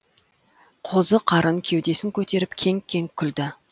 қозы қарын кеудесін көтеріп кеңк кеңк күлді